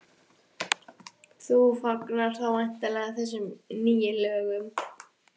Kristín: Þú fagnar þá væntanlega þessum nýju lögum?